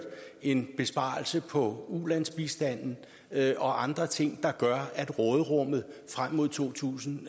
en besparelse på ulandsbistanden og andre ting der gør at råderummet frem mod to tusind